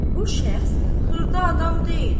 bu şəxs xırda adam deyil.